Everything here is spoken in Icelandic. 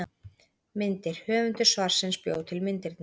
Myndir: Höfundur svarsins bjó til myndirnar.